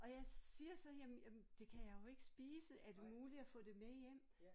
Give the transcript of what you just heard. Og jeg siger så jamen jamen det kan jeg jo ikke spise er det muligt at få det med hjem?